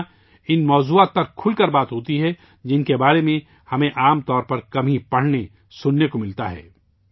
یہاں ان موضوعات پر کھل کر بات چیت ہوتی ہے، جن کے بارے میں ہمیں عام طور پر کم ہی پڑھنے اور سننے کو ملتا ہے